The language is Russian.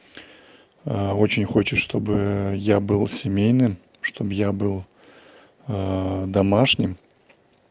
а очень хочет чтобы я был семейным чтобы я был домашним